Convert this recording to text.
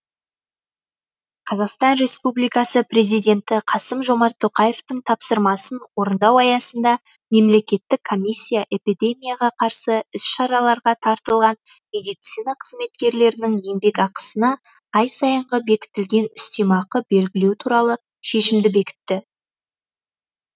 қазақстан республикасы президенті қасым жомарт тоқаевтың тапсырмасын орындау аясында мемлекеттік комиссия эпидемияға қарсы іс шараларға тартылған медицина қызметкерлерінің еңбекақысына ай сайынғы бекітілген үстемақы белгілеу туралы шешімді бекітті